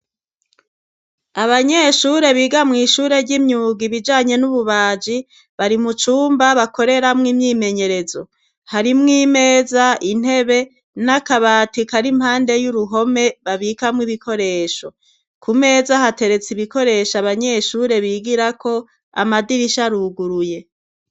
Abanyeshure biga mw'ishuri shure ry'imyuga ibijanye n'ububaji, bari mu cumba bakoreramo imyimenyerezo. Harimwo imeza intebe, n'akabati kari impande y'uruhome babikamwo ibikoresho. Ku meza hateretse ibikoresho abanyeshure bigirako amadirisha aruguruye.